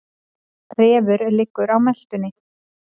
Refur liggur á meltunni.